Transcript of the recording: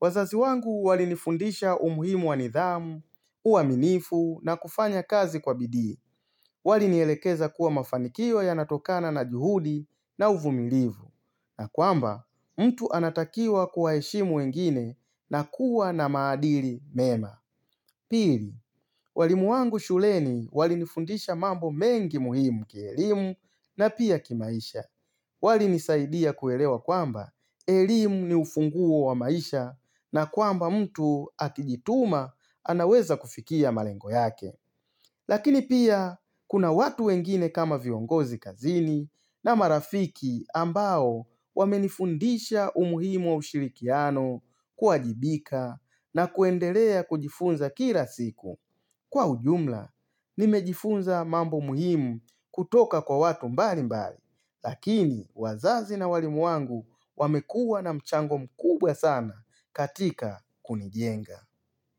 wazazi wangu walinifundisha umuhimu wa nidhamu, uwaminifu na kufanya kazi kwa bidii. Walinielekeza kuwa mafanikio yanatokana na juhudi na uvumilivu. Na kwamba, mtu anatakiwa kuwaheshimu wengine na kuwa na maadili mema. Pili, walimu wangu shuleni walinifundisha mambo mengi muhimu kielimu na pia kimaisha. Walinisaidia kuelewa kwamba elimu ni ufunguo wa maisha na kwamba mtu atijituma anaweza kufikia malengo yake. Lakini pia, kuna watu wengine kama viongozi kazini na marafiki ambao wamenifundisha umuhimo ushirikiano kuajibika na kuendelea kujifunza kila siku. Kwa ujumla, nimejifunza mambo muhimu kutoka kwa watu mbali mbali, lakini wazazi na walimu wangu wamekua na mchango mkubwa sana katika kunijenga.